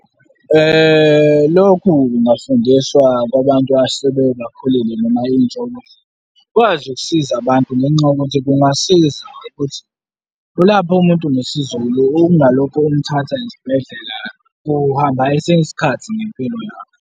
Lokhu kungafundiswa kwabantu asebakhulile noma intsha ukuthi ikwazi ukusiza abantu ngenxa yokuthi kungasiza ukuthi kulaphwe umuntu ngesiZulu, ungalokhu umthatha esibhedlela, kuhamba esinye isikhathi ngempilo yakho.